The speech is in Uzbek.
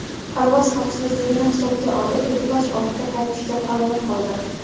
Parvoz xavfsizligini hisobga olib, ekipaj ortga qaytishga qaror qildi.